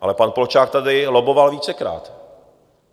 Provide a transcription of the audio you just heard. Ale pan Polčák tady lobboval vícekrát.